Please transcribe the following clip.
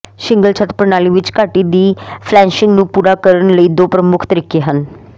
shingle ਛੱਤ ਪ੍ਰਣਾਲੀ ਵਿਚ ਘਾਟੀ ਦੀ ਫਲੈਸ਼ਿੰਗ ਨੂੰ ਪੂਰਾ ਕਰਨ ਲਈ ਦੋ ਪ੍ਰਮੁਖ ਤਰੀਕੇ ਹਨ